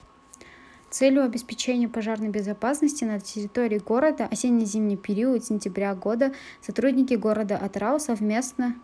целью обеспечения пожарной безопасности на терриории города осенне-зимний период сентября года сотрудники города атырау совместно